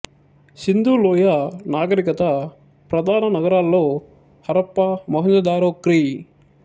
సింధు లోయ నాగరికత ప్రధాన నగరాలలో హరప్ప మొహెంజోదారో క్రీ